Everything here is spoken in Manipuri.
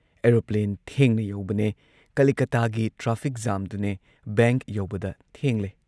ꯑꯦꯔꯣꯄ꯭ꯂꯦꯟ ꯊꯦꯡꯅ ꯌꯧꯕꯅꯦ, ꯀꯂꯤꯀꯇꯥꯒꯤ ꯇ꯭ꯔꯥꯐꯤꯛ ꯖꯥꯝꯗꯨꯅꯦ ꯕꯦꯡꯛ ꯌꯧꯕꯗ ꯊꯦꯡꯂꯦ ꯫